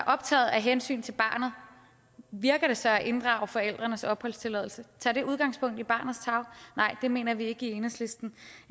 optaget af hensynet til barnet virker det så at inddrage forældrenes opholdstilladelse tager det udgangspunkt i barnets tarv nej det mener vi ikke i enhedslisten